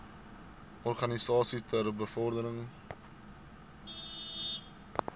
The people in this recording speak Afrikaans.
organisasies ter bevordering